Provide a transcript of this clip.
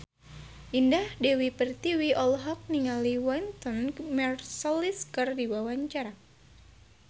Indah Dewi Pertiwi olohok ningali Wynton Marsalis keur diwawancara